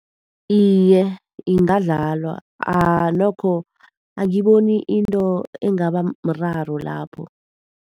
Iye, ingadlalwa. Nokho angiboni into engaba mraro lapho.